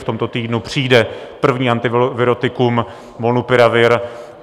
V tomto týdnu přijde první antivirotikum molnupiravir.